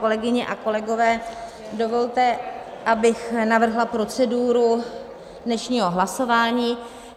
Kolegyně a kolegové, dovolte, abych navrhla proceduru dnešního hlasování.